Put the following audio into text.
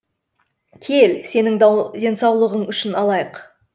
кел сенің денсаулығың үшін алайық